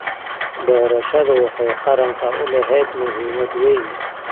Doorashadu waxay qaranka u lahayd muhiimad weyn.